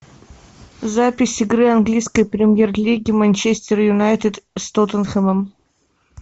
запись игры английской премьер лиги манчестер юнайтед с тоттенхэмом